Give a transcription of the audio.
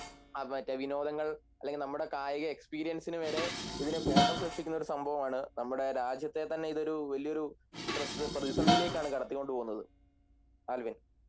വിനോദങ്ങൾ അല്ലെങ്കിൽ നമ്മുടെ കായിക എക്സ്‌പീരിയൻസിനുവരെ ഇതിനു കോട്ടം സൃഷ്ടിക്കുന്നൊരു സംഭവമാണ് നമ്മുടെ രാജ്യത്തെ തന്നൊരു ഇതൊരു വലിയൊരു പ്രതിസന്ധിയിലേക്കാണ് കടത്തിക്കൊണ്ടുപോകുന്ന ആൽവിൻ